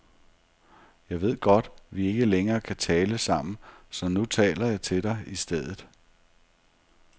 Jeg ved godt, vi ikke længere kan tale sammen, så nu taler jeg til dig i stedet.